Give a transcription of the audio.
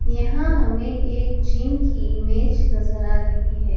यहां हमें एक जिम की ईमेज नजर आ रही है।